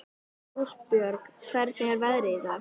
Rósbjörg, hvernig er veðrið í dag?